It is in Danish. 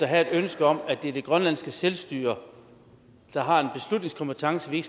have et ønske om at det er det grønlandske selvstyre der har en beslutningskompetence vi